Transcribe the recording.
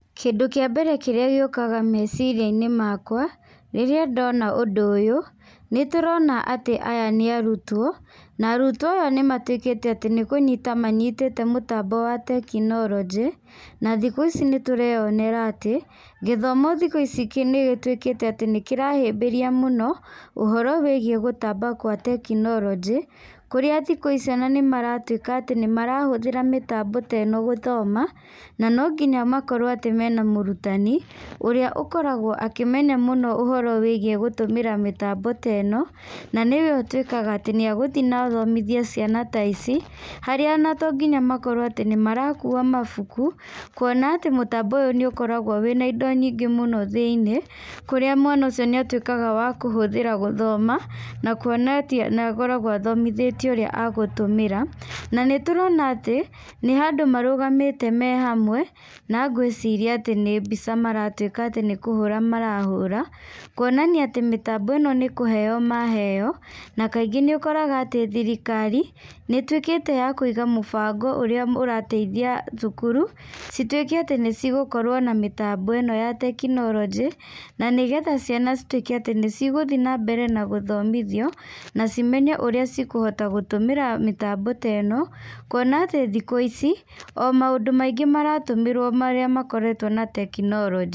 Kĩndũ kĩa mbere kĩrĩa gĩũkaga meciria-inĩ makwa rĩrĩa ndona ũndũ ũyũ, nĩ tũrona atĩ aya nĩ arutwo. Na arutwo aya nĩ matuĩkĩte atĩ nĩ kũnyita manyitĩte mũtambo wa tekinoronjĩ. Na thikũ ici nĩ tũreonera atĩ gĩthomo thikũ ici nĩ gĩtuĩkĩte atĩ nĩ kĩrahĩmbĩria mũno ũhoro wĩgiĩ gũtamba gwa tekinoronjĩ. Kũrĩa thikũ ici ona nĩ maratuĩka atĩ nĩ marahũthĩra mĩtambo ta ĩno gũthoma na no nginya makorwo atĩ mena mũrutani ũrĩa ũkoragwo akĩmenya mũno ũhoro wa kũhũthĩra mĩtambo ĩno. Na nĩwe ũtuĩkaga atĩ nĩ egũthiĩ na athomithie ciana ici, harĩa ona tonginya makorwo atĩ nĩ marakua mabuku. Kuona atĩ mũtambo ũyũ nĩ ũkoragwo wĩna indo nyingĩ thĩiniĩ, kũrĩa mwana ũcio atuĩkaga wa kũhũthĩra gũthoma. Na kuona atĩ ona akoragwo athomithĩtio ũrĩa agũtũmĩra. Na nĩ tũrona atĩ nĩ handũ marũgamĩte me hamwe na ngwĩciria atĩ nĩ mbica maratuĩka atĩ nĩ kũhũra marahũra. Kuonania atĩ mĩtambo ĩno nĩ kũheyo maheyo na kaingĩ nĩ ũkoraga atĩ thirikari nĩ ĩtuĩkĩte ya kũiga mũbango ũrĩa ũrateithia thukuru, cituĩke atĩ nĩ cigũkorwo na mĩtambo ĩno ya tekinoronjĩ. Na nĩgetha ciana cituĩke atĩ nĩ cigũthiĩ na mbere na gũthomithio na cimenye ũrĩa cikũhota gũtũmĩra mĩtambo ta ĩno. Kuona atĩ thikũ ici o maũndũ maingĩ maratũmĩrwo marĩa makoretwo na tekinoronjĩ.